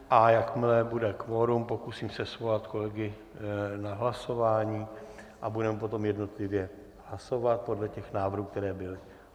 A jakmile bude kvorum, pokusím se svolat kolegy na hlasování a budeme potom jednotlivě hlasovat podle těch návrhů, které byly.